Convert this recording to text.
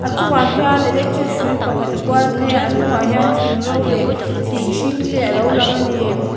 a chungah hian electric hrui pakhat a kual phei a a hnungah hian thing ro leh thing hring te alo lang a ni.